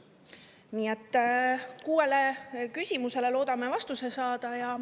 küsimusele loodame vastused saada.